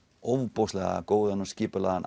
ofboðslega góðan og skipulagðan